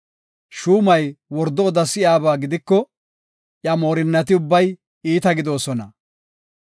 Shuumay wordo oda si7iyaba gidiko, iya moorinnati ubbay iita gidoosona.